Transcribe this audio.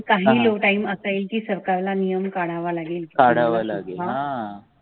तो काढावा लागेल